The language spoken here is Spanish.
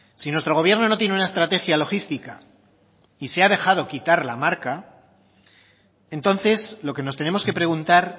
si nuestro gobierno no tiene una estrategia logística y se ha dejado quitar la marca entonces lo que nos tenemos que preguntar